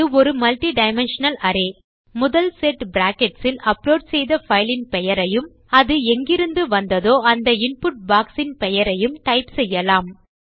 இது ஒரு multidimensional array முதல் செட் பிராக்கெட்ஸ் இல் அப்லோட் செய்த பைல் இன் பெயரையும் அது எங்கிருந்து வந்ததோ அந்த இன்புட் பாக்ஸ் இன் பெயரையும் டைப் செய்யலாம்